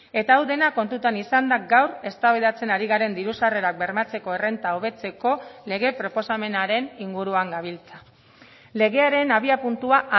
eta hau dena kontutan izanda gaur eztabaidatzen ari garen diru sarrerak bermatzeko errenta hobetzeko lege proposamenaren inguruan gabiltza legearen abiapuntua